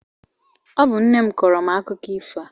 Ọ bụ nne m kọọrọ m akụkọ ifo a.